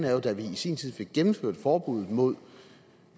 er jo at da vi i sin tid fik gennemført forbuddet mod